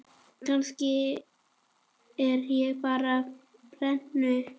Kannski er ég bara brennu